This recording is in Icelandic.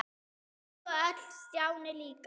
Þau hlógu öll- Stjáni líka.